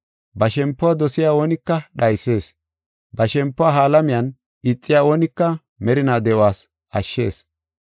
Ba shempuwa dosiya oonika dhaysees; ba shempuwa ha alamiyan ixiya oonika merinaa de7os ashshees.